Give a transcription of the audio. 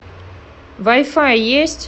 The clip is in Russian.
вай фай есть